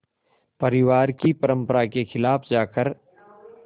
परिवार की परंपरा के ख़िलाफ़ जाकर